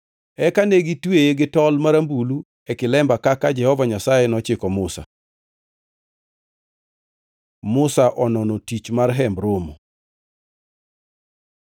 Eka ne gitweye gi tol marambulu e kilemba kaka Jehova Nyasaye nochiko Musa. Musa onono tich mar Hemb Romo